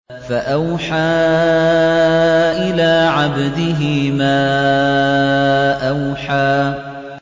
فَأَوْحَىٰ إِلَىٰ عَبْدِهِ مَا أَوْحَىٰ